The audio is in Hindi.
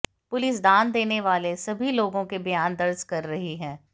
पुलिस दान देने वाले सभी लोगों के बयान दर्ज कर रही है